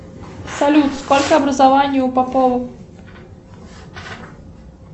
салют сколько образований у попова